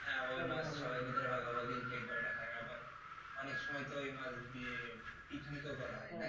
হ্যাঁ ঐ মাছ সবার ভিতর ভাগাভাগি কে কয়টা খায় আবার অনেক সময় তো ঐ মাছ দিয়ে picnic ও করা হয়